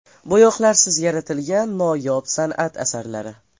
Bo‘yoqlarsiz yaratilgan noyob san’at asarlari.